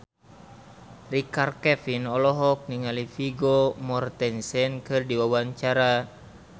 Richard Kevin olohok ningali Vigo Mortensen keur diwawancara